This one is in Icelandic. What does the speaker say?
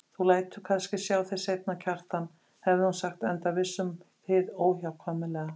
Þú lætur kannski sjá þig seinna, Kjartan, hafði hún sagt enda viss um hið óhjákvæmilega.